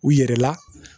U yɛrɛ la